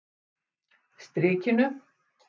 Strikinu